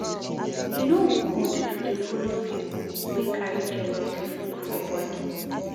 E no good to dey folo pipu wey carry jealousy full for bodi.